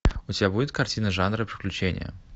у тебя будет картина жанра приключения